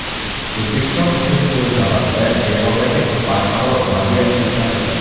O‘zbekiston uchun, o‘z navbatida, Erondagi barqaror vaziyat o‘ta muhim.